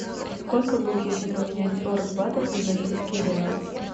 сколько будет если поменять сорок батов на бразильские реалы